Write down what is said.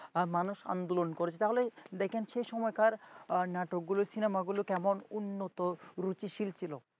আর মানুষ আন্দোলন করেছে তাহলে দেখেন সেই সময়কার নাটকগুলো cinema গুলো কেমন উন্নত রুচিশীল ছিল।